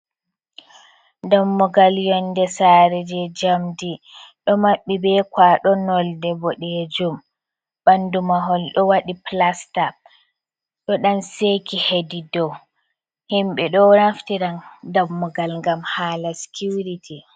Dammugal yonde Sare je jamdi, ɗo Mabɓi be kwaɗo nolde ɓoɗejum. Ɓandu mahol ɗo waɗi Pilasta ɗo ɗan Seki hedi dou, himɓe ɗo Naftira Dammugal ngam hala Sikiuriti.